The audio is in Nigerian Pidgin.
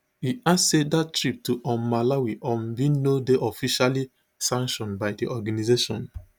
e add say dat trip to um malawi um bin no dey officially sanctioned by di organisation